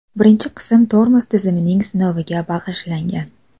Birinchi qism tormoz tizimining sinoviga bag‘ishlangan .